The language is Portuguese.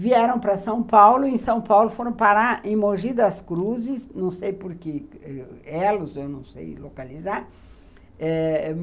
vieram para São Paulo e em São Paulo foram parar em Mogi das Cruzes, não sei porque, elos, eu não sei localizar. Eh